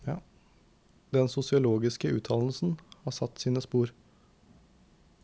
Den sosiologiske utdannelsen har satt sine spor.